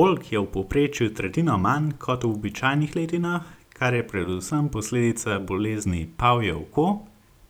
Oljk je v povprečju tretjino manj kot v običajnih letinah, kar je predvsem posledica bolezni pavje oko,